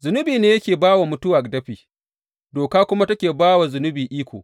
Zunubi ne yake ba wa mutuwa dafi, Doka kuma take ba wa zunubi iko.